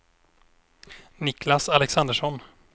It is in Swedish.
Niklas Alexandersson